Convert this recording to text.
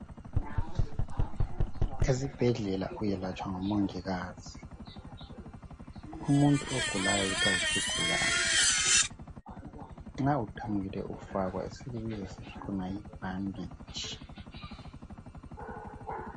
Esibhedlela uyelatshwa ngomongikazi umuntu ogulayo kuthiwa yisigulane nxa uqamukile ufakwa esikubiza sithi yibhaditshi